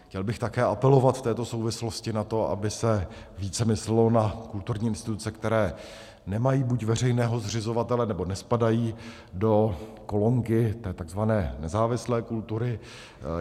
Chtěl bych také apelovat v této souvislosti na to, aby se více myslelo na kulturní instituce, které nemají buď veřejného zřizovatele, nebo nespadají do kolonky té tzv. nezávislé kultury.